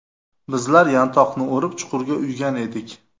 Bizlar yantoqni o‘rib, chuqurga uygan edik.